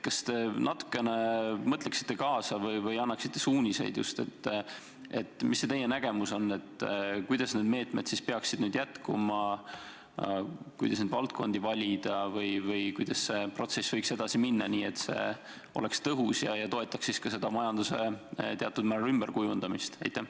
Kas te natukene mõtleksite kaasa või annaksite suuniseid, milline on teie nägemus, kuidas need meetmed peaksid nüüd jätkuma ja kuidas neid valdkondi valida või kuidas see protsess võiks edasi minna, et see oleks tõhus ja toetaks ka majanduse teatud määral ümberkujundamist?